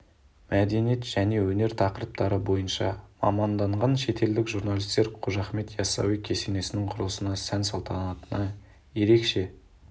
мәдениет және өнер тақырыптары бойынша маманданған шетелдік журналистер қожа ахмет ясауи кесенесінің құрылысына сән-салтанатына ерекше